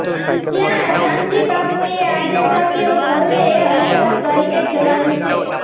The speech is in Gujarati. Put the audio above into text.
ત્યાં શામજીબાપુએ આદેશ આપ્યો સૌએ હરિહર કરીને જવાનું છે